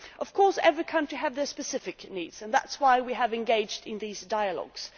Of course, every country has its specific needs, and that is why we have engaged in these dialogues.